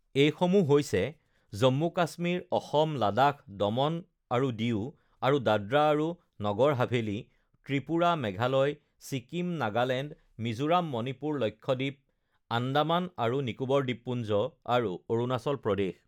এইসমূহ হৈছেঃ জম্মু কাশ্মীৰ, অসম, লাডাখ, দমন আৰু ডিউ আৰু দাদৰা আৰু নগৰ হাভেলী, ত্ৰিপুৰা, মেঘালয়, ছিকিম, নাগালেণ্ড, মিজোৰাম, মণিপুৰ, লক্ষদ্বীপ, আন্দামান আৰু নিকোবৰ দ্বীপপুঞ্জ আৰু অৰুণাচল প্ৰদেশ